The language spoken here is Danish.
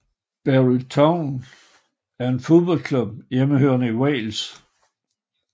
Barry Town er en fodboldklub hjemmehørende i Wales